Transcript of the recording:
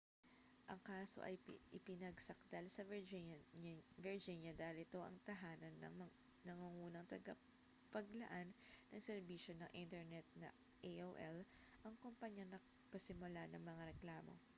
ang kaso ay ipinagsakdal sa virginia dahil dito ang tahanan ng nangungunang tagapaglaan ng serbisyo ng internet na aol ang kompanyang nagpasimula ng mga reklamo